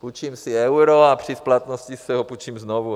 Půjčím si euro a při splatnosti si ho půjčím znovu.